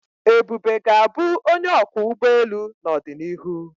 Ebube ga-abụ onye ọkwọ ụgbọ elu n'ọdịnihu.